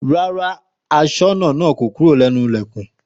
Rárá aṣọ́bodè kò kúrò lẹ́nu Ìlẹ̀kùn